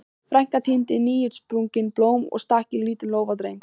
Frænka tíndi nýútsprungin blóm og stakk í lítinn lófa Drengs.